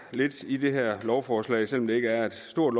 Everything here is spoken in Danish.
lidt i det her lovforslag selv om det ikke er stort